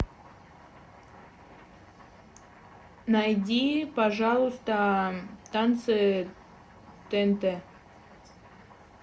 найди пожалуйста танцы тнт